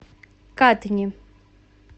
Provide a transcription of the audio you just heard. катни